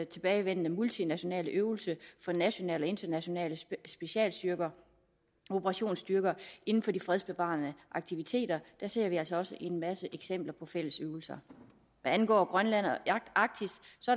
tilbagevendende multinationale øvelse for nationale og internationale specialstyrker og operationsstyrker inden for de fredsbevarende aktiviteter her ser vi altså også en masse eksempler på fælles øvelser hvad angår grønland og arktis